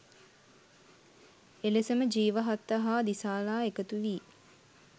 එලෙසම ජීවහත්ත හා දිසාලා එකතු වී